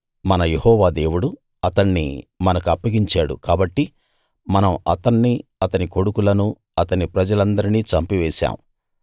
మన యెహోవా దేవుడు అతణ్ణి మనకప్పగించాడు కాబట్టి మనం అతన్నీ అతని కొడుకులనూ అతని ప్రజలందరినీ చంపివేశాం